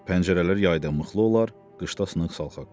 Pəncərələr yayda möhkəm bağlı olar, qışda sınıq-salxaq.